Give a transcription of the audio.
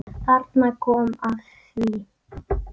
Ragnar Árni.